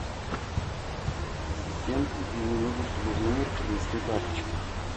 ассистент мне нужно чтобы в номер принесли тапочки